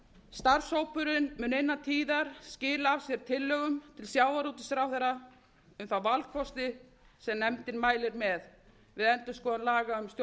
starfshópurinn mun innan tíðar skila af sér tillögum til sjávarútvegsráðherra um þá valkosti sem nefndin mælir með við endurskoðun laga